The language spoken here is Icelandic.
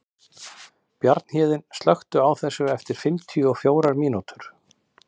Bjarnhéðinn, slökktu á þessu eftir fimmtíu og fjórar mínútur.